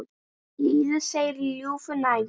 Líða þeir í ljúfu næði.